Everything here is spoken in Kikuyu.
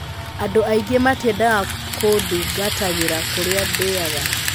'Andũ aingĩ matiendaga kũndungatagĩra kũrĩa ndĩaga.